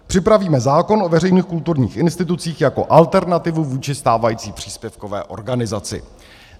Připravíme zákon o veřejných kulturních institucí jako alternativu vůči stávající příspěvkové organizaci.